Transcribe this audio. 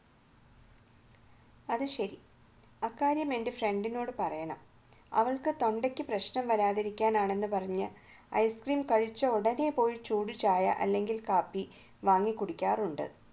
അത് ശരി ആ കാര്യം എന്റെ friend നോട് പറയണം അവൾക്ക് തൊണ്ടയ്ക്ക് പ്രശ്നം വരാതിരിക്കാനാണ് എന്ന് പറഞ്ഞ് ice cream കഴിച്ച ഉടനെ പോയി ചൂട് ചായ അല്ലെങ്കിൽ കാപ്പി വാങ്ങിച്ചു കുടിക്കാറുണ്ട്